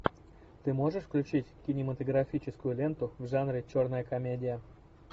ты можешь включить кинематографическую ленту в жанре черная комедия